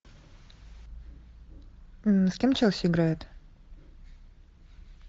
с кем челси играет